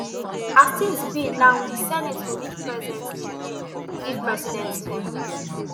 as tins be now di senate go need present di bill give president tinubu